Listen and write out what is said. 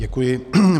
Děkuji.